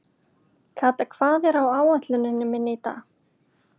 Kata, hvað er á áætluninni minni í dag?